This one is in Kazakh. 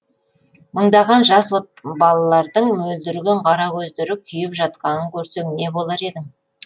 мыңдаған жас балалардың мөлдіреген қара көздері күйіп жатқанын көрсең не болар едің